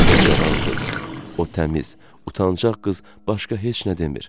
O Cavan qız, o təmiz, utancaq qız başqa heç nə demir.